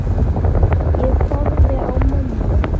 Ég horfi á mömmu.